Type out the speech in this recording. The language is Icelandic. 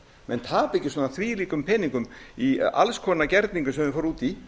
menn tapa ekki svona þvílíkum peningum í alls konar gerninga sem þeir fara út í